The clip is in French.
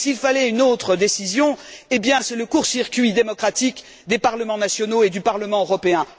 Et s'il fallait une autre décision, cela relève du court circuit démocratique des parlements nationaux et du Parlement européen.